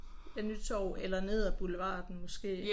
Ja Nytorv eller nede af boulevarden måske